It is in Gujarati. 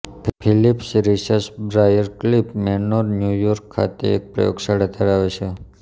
Phillips research Briarcliff Manor New York ખાતે એક પ્રયોગશાળા ધરાવે છે